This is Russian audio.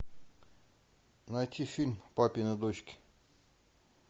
найти фильм папины дочки